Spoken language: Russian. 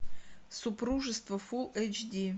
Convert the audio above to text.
супружество фул эйч ди